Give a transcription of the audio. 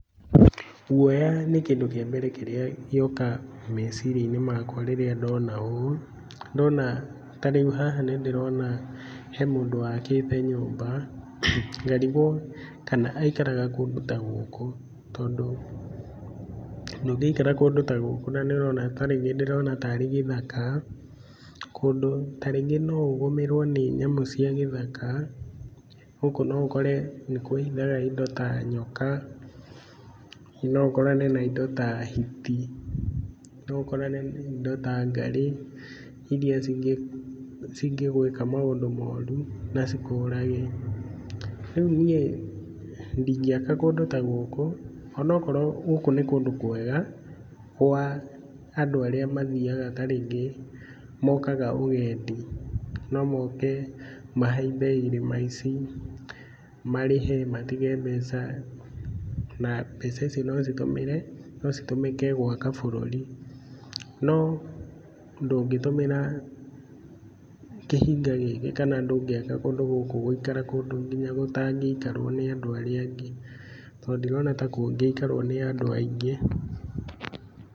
Guoya nĩ kĩndũ kĩa mbere kĩrĩa gĩoka meciria-inĩ makwa rĩrĩa ndona ũũ. Ndona ta rĩu haha nĩ ndĩrona he mũndũ wakĩte nyũmba, ngarigwo kana aikaraga kũndũ ta gũkũ, tondũ ndũngĩikara kũndũ ta gũkũ na nĩ ũrona ta rĩngĩ ndĩrona tarĩ gĩthaka. Kũndũ ta rĩngĩ no ũgũmĩrwo nĩ nyamũ cia gĩthaka. Gũkũ no ũkore nĩ kwĩhithaga indo ta nyoka, no ũkorane na indo ta hiti, no ũkorane na indo ta ngarĩ iria cingĩgwĩka maũndũ moru na cikũrage. Rĩu niĩ ndingĩaka kũndũ ta gũkũ, onokorwo gũkũ nĩ kũndũ kwega kwa andũ arĩa mathiaga ta rĩngĩ mokaga ũgendi, no moke mahaimbe irĩma ici, marĩhe matige mbeca, na mbeca icio no citũmĩre no citũmĩke gwaka bũrũri. No ndũngĩtũmĩra kĩhinga gĩkĩ kana ndũngĩaka kũndũ gũkũ gũikara kũndũ nginya gũtangĩikarwo nĩ andũ arĩa angĩ, tondũ ndirona ta kũngĩikarwo nĩ andũ aingĩ.